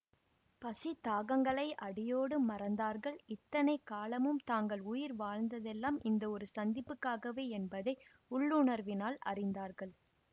பசி தாகங்களை அடியோடு மறந்தார்கள் இத்தனை காலமும் தாங்கள் உயிர் வாழ்ந்ததெல்லாம் இந்த ஒரு சந்திப்புக்காகவே என்பதை உள்ளுணர்வினால் அறிந்தார்கள்